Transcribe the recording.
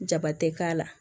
Jaba tɛ k'a la